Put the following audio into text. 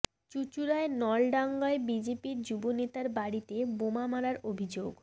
চুঁচুড়ার নলডাঙায় বিজেপির যুব নেতার বাড়িতে বোমা মারার অভিযোগ